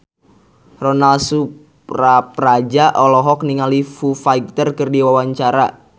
Ronal Surapradja olohok ningali Foo Fighter keur diwawancara